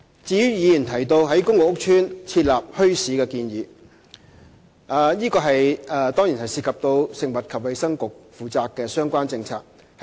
至於議員提到在公共屋邨設立墟市的建議，這當然涉及食物及衞生局負責的相關政策。